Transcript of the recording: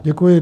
Děkuji.